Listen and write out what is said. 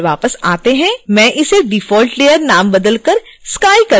मैं इस default layer का नाम बदलकर sky कर दूँगी